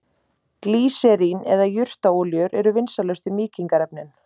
Glýserín eða jurtaolíur eru vinsælustu mýkingarefnin.